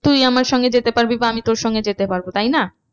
তুই আমার সঙ্গে যেতে পারবি বা আমি তোর সঙ্গে যেতে পারবো তাই না।